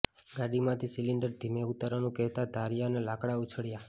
ગાડીમાંથી cylinder ધીમે ઉતારવાનું કહેતા ધારિયા અને લાકડા ઉછળ્યાં